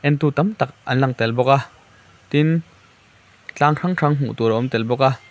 tu tam tak an lang tel bawk a tin tlang hrang hrang hmuh tur a awm tel bawk a.